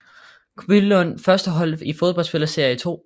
Billunds førstehold i fodbold spiller serie 2